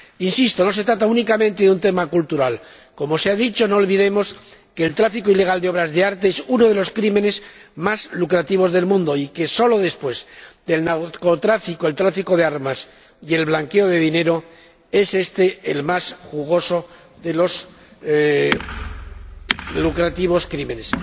Insisto, no se trata únicamente de un tema cultural. Como se ha dicho, no olvidemos que el tráfico ilegal de obras de arte es uno de los crímenes más lucrativos del mundo y que, solo después del narcotráfico, el tráfico de armas y el blanqueo de dinero, es este el más jugoso de los lucrativos crímenes.